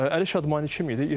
Əli Şadmani kim idi?